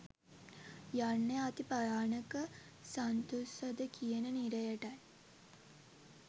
යන්නේ අති භයානක සන්තුස්සද කියන නිරයට යි.